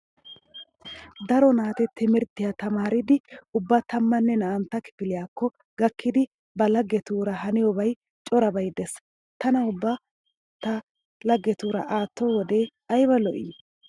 Daro naati timirttiya tamaariiddi ubba tammanne naa'antta kifiliyakko gakkiiddi ba laggetuura haniyobay corabay dees. Tana ubba ta laggetuura aatto wode ayba lo'ii?